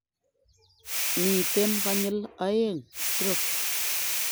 Miten konyil oeng stroke